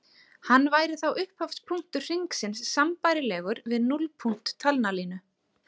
Hann væri þá upphafspunktur hringsins sambærilegur við núllpunkt talnalínu.